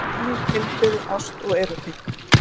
Kynlíf, heilbrigði, ást og erótík.